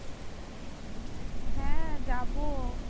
হ্যাঁ যাবো